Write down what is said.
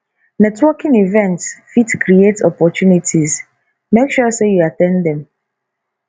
networking events fit create opportunities make sure say you at ten d dem